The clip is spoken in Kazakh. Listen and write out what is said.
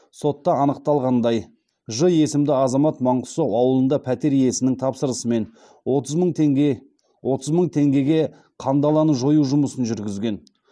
сотта анықталғандай ж есімді азамат маңғыстау ауылында пәтер иесінің тапсырысымен отыз мың теңге отыз мың теңгеге қандаланы жою жұмысын жүргізген